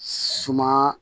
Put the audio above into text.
Suma